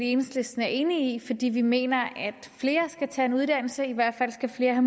i enhedslisten er enige i fordi vi mener at flere skal tage en uddannelse i hvert fald skal flere